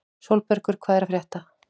Sólbergur, hvað er að frétta?